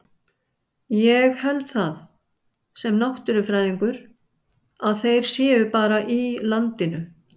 Ég held það, sem náttúrufræðingur, að þeir séu bara í landinu.